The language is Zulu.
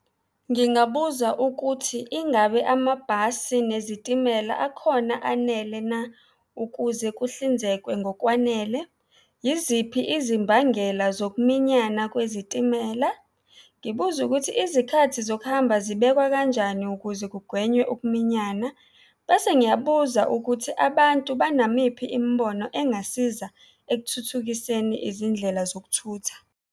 Ngingabuza ukuthi, ingabe amabhasi nezitimela akhona anele na ukuze kuhlinzekwe ngokwanele? Yiziphi izimbangela zokuminyana kwezitimela? Ngibuze ukuthi izikhathi zokuhamba zibekwa kanjani ukuze kugwenywe ukuminyana. Bese ngiyabuza ukuthi abantu banamiphi imibono engasiza ekuthuthukiseni izindlela zokuthutha.